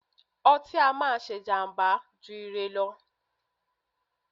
ọtí á máà ń ṣé ìjàmbá jù ire lọ.